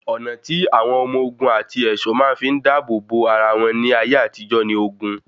Ọ̀nà tí àwọn ọmọ ogun àti ẹ̀ṣọ́ máa ń fi dábò bo ara wọn ní ayé àtijó ni oògùn.